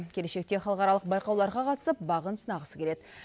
келешекте халықаралық байқауларға қатысып бағын сынағысы келеді